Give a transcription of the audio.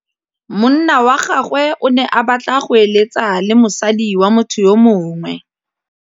Monna wa gagwe o ne a batla go êlêtsa le mosadi wa motho yo mongwe.